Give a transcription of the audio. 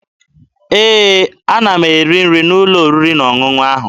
Ee, ana m eri nri n'ụlọ oriri na ọṅụṅụ ahụ.